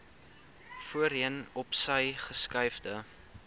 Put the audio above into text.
voorheen opsy geskuifde